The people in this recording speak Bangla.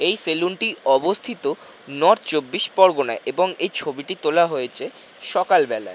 এই সেলুন টি অবস্থিত নর্থ চব্বিশ পরগনায় এবং এই ছবিটি তোলা হয়েছে সকালবেলা।